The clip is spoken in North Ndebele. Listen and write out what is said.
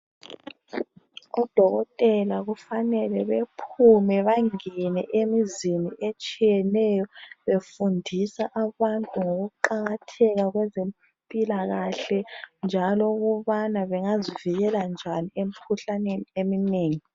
Udokotela kufanele bephume bangene emzini etshiyeneyo befundisa abantu ngokuqakatheka kwezempilakahle njalo ukubana bengazivikela njani emkhuhlaneni eminengi.